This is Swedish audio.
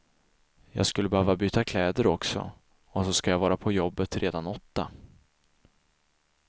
Jag skulle behöva byta kläder också, och så ska jag vara på jobbet redan åtta.